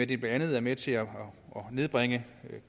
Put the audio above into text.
det blandt andet er med til at nedbringe